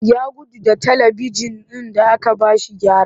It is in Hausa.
Ya gudu da talibijin ɗin da aka ba shi gyara